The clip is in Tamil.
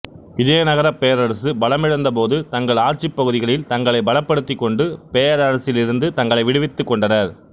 விஜயநகரப் பேரரசு பலமிழந்தபோது தங்கள் ஆட்சிப்பகுதிகளில் தங்களைப் பலப்படுத்திக்கொண்டு பேரரசிலிருந்து தங்களை விடுவித்துக் கொண்டனர்